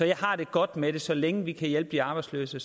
jeg har det godt med det for så længe vi kan hjælpe de arbejdsløse